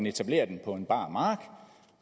etablere den på en bar mark